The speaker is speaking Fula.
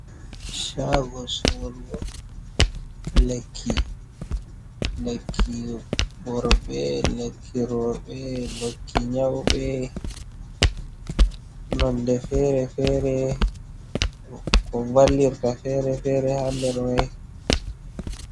shago sorugo lekki, lekki worbe, leki robe, likki nyaube, nonde fere fere, ko vallirta fere fere ha derme.